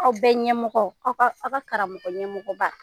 Aw bɛ ɲɛmɔgɔ ,aw ka karamɔgɔ ɲɛmɔgɔba